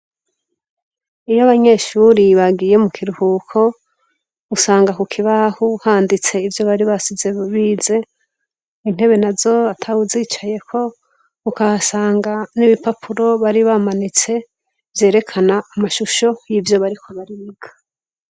Iyo abanyeshuri bagiye mu kiruhuko usanga ku kibaho handitse ivyo bari basize bize intebe nazo atuwu zicayeko ugasanga n'ibipapuro bari bamanitse vyerekana amashusho yivyo bariko bariga.